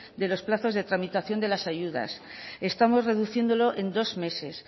de los plazos de tramitación de las ayudas estamos reduciéndolo en dos meses